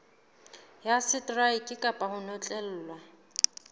ya seteraeke kapa ho notlellwa